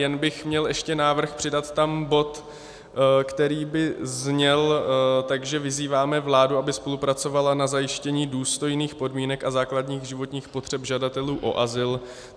Jen bych měl ještě návrh přidat tam bod, který by zněl tak, že vyzýváme vládu, aby spolupracovala na zajištění důstojných podmínek a základních životních potřeb žadatelů o azyl.